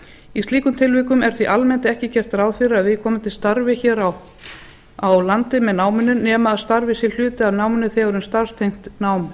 í slíkum tilvikum er því almennt ekki gert ráð fyrir að viðkomandi starfi hér á landi með náminu nema starfið sé hluti af náminu þegar um starfstengt nám er